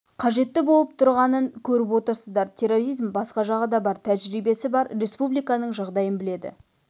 қажетті болып тұрғанын көріп отырсыздар терроризм басқа жағы да бар тәжірибесі бар республиканың жағдайын біледі